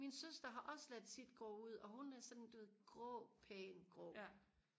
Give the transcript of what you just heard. min søster har også ladet sit gro ud og hun er sådan du ved grå pæn grå